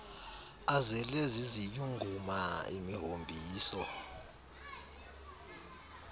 azele ziziyunguma imihombiso